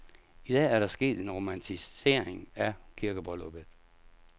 I dag er der sket en romantisering af kirkebrylluppet.